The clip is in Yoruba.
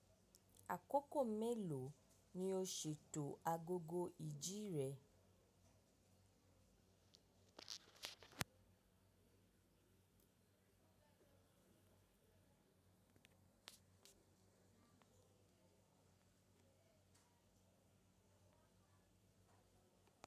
Àkókò mélòó ni o ṣètò agogo ìjì rẹ?